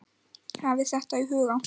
Hafið þetta í huga.